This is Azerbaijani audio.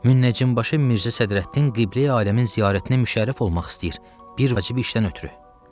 Münəccim başı Mirzə Sədrəddin Qibleyi aləmin ziyarətini müşərrəf olmaq istəyir bir vacib işdən ötrü.